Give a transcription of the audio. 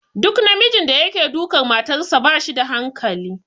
Duk namijin da yake dukar matarsa ba shi da hankali.